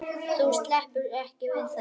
Þú sleppur ekki við það!